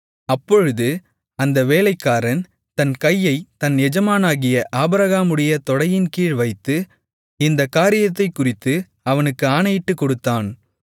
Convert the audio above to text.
அப்பொழுது அந்த வேலைக்காரன் தன் கையைத் தன் எஜமானாகிய ஆபிரகாமுடைய தொடையின்கீழ் வைத்து இந்தக் காரியத்தைக்குறித்து அவனுக்கு ஆணையிட்டுக்கொடுத்தான்